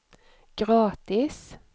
gratis